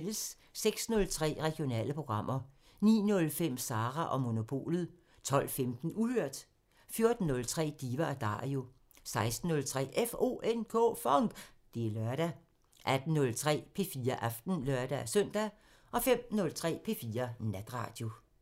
06:03: Regionale programmer 09:05: Sara & Monopolet 12:15: Uhørt 14:03: Diva & Dario 16:03: FONK! Det er lørdag 18:03: P4 Aften (lør-søn) 05:03: P4 Natradio